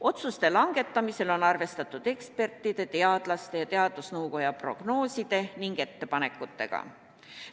Otsuste langetamisel on arvestatud ekspertide, teadlaste ja teadusnõukoja prognooside ning ettepanekutega.